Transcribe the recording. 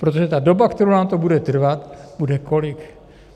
Protože ta doba, kterou nám to bude trvat, bude kolik?